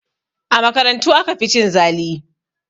A makarantu aka fi cin zali